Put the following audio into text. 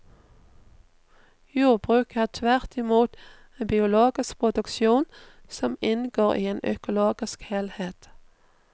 Jordbruket er tvert i mot en biologisk produksjon som inngår i en økologisk helhet.